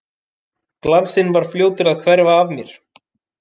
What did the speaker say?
Glansinn var fljótur að hverfa af mér.